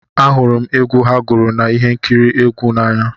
Ahụrụ m egwu ha gụrụ na ihe nkiri egwu a n'anya